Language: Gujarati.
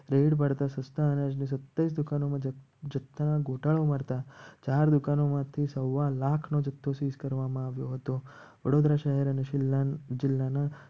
રેડ પાડતા સસ્તા અનાજની સત્યાવીસ દુકાનો ચાર દુકાનોમાંથી સવા લાખોશીસ સવા લાખ નો જથ્થો શીલ કરવામાં આવ્યો હતો. વડોદરા શહેર અને જિલ્લાના